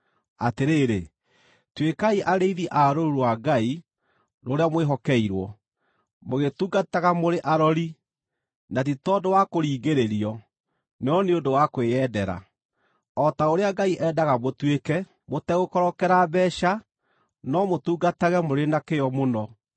Atĩrĩrĩ, tuĩkai arĩithi a rũũru rwa Ngai rũrĩa mwĩhokeirwo, mũgĩtungataga mũrĩ arori, na ti tondũ wa kũringĩrĩrio, no nĩ ũndũ wa kwĩyendera, o ta ũrĩa Ngai endaga mũtuĩke; mũtegũkorokera mbeeca, no mũtungatage mũrĩ na kĩyo mũno;